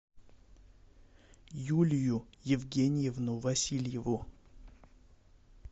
юлию евгеньевну васильеву